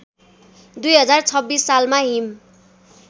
२०२६ सालमा हिम